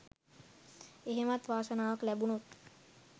එහෙමවත් වාසනාවක් ලැබුණොත්